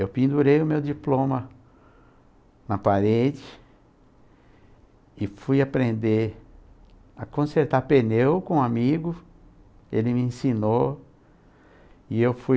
Eu pendurei o meu diploma na parede e fui aprender a consertar pneu com um amigo, ele me ensinou e eu fui